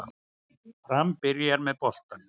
Fram byrjar með boltann